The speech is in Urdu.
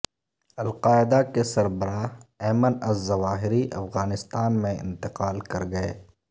القاعدہ کے سربراہ ایمن الظواہری افغانستان میں انتقال کرگئے